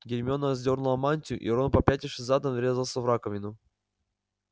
гермиона сдёрнула мантию и рон попятившись задом врезался в раковину